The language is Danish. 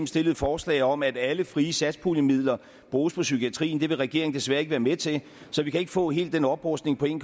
stillet et forslag om at alle frie satspuljemidler bruges i psykiatrien det vil regeringen desværre ikke være med til så vi kan ikke få helt den oprustning på en